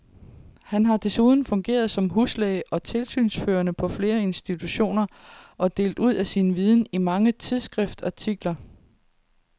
Han har desuden fungeret som huslæge og tilsynsførende på flere institutioner og delt ud af sin viden i mange tidsskriftsartikler.